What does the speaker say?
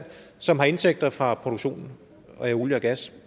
som har indtægter fra produktionen af olie og gas